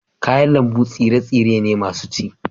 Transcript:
kayan lambu tsire-tsire ne masu ci